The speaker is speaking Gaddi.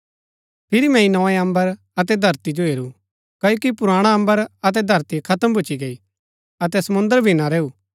फिरी मैंई नोए अम्बर अतै धरती जो हेरू क्ओकि पुराणा अम्बर अतै धरती खत्म भूच्ची गई अतै समुंद्र भी ना रैऊ